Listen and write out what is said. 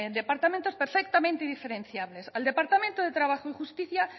departamentos perfectamente diferenciables al departamento de trabajo y justicia